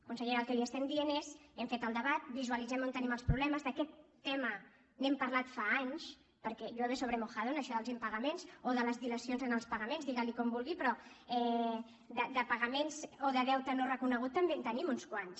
consellera el que li estem dient és hem fet el debat vi sualitzem on tenim els problemes d’aquest tema n’hem parlat fa anys perquè llueve sobre mojado en això dels impagaments o de les dilacions en els pagaments diguili com vulgui però de pagaments o de deute no reconegut també en tenim uns quants